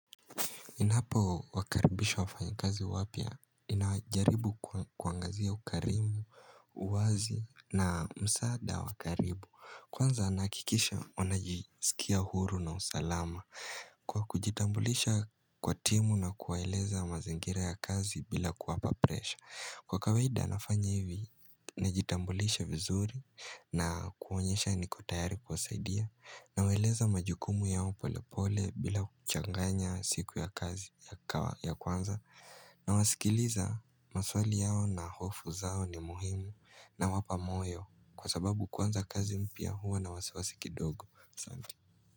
Ninapo wakaribisha wafanyikazi wapya ninajaribu kuangazia ukarimu, uwazi na msaada wa karibu. Kwanza nahakikisha wanajisikia huru na usalama kwa kujitambulisha kwa timu na kuwaeleza mazingira ya kazi bila kuwapa presha. Kwa kawaida nafanya hivi, najitambulisha vizuri na kuonyesha niko tayari kuwasaidia. Nawaeleza majukumu yao pole pole bila kuchanganya siku ya kazi ya kwanza Nawasikiliza maswali yao na hofu zao ni muhimu nawapa moyo kwa sababu kwanza kazi mpya huwa na wasiwasi kidogo. Asante.